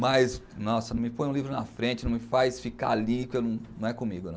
Mas, nossa, não me põe um livro na frente, não me faz ficar ali, porque não é comigo, não.